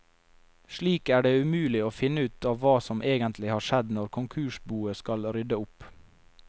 Slik er det umulig å finne ut av hva som egentlig har skjedd når konkursboet skal rydde opp.